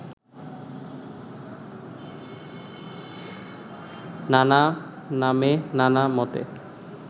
নানা নামে নানা মতে